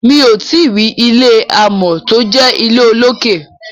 mi'o tí rí ilé amò tó jé ilé olokè.